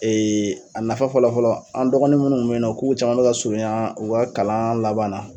a nafa fɔlɔ fɔlɔ an dɔgɔnin minnu kun be yen nɔn k'u caman bi ka surunya u ka kalan laban na